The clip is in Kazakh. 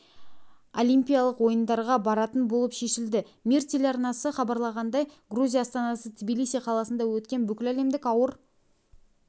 олимпиялық ойындарға баратын болып шешілді мир телеарнасы хабарлағандай грузия астанасы тбилиси қаласында өткен бүкіләлемдік ауыр